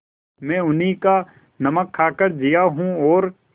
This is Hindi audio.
मैं उन्हीं का नमक खाकर जिया हूँ और